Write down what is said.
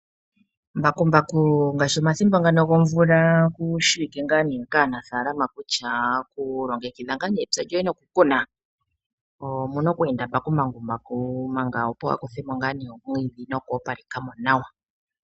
Mbakumbaku ngaashi omathimbo ngano gomvula okushi wike ngaa kaanafalama kutya okulongekidha nga epya lyoye no kukuna omuna okweenda mbakumbaku a kuthe mo ngaa omwidhi noku opaleka mo nawa.